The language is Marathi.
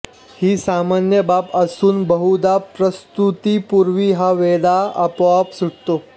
ही सामान्य बाब असून बहुधा प्रसूतीपूर्वी हा वेढा आपोआप सुटतो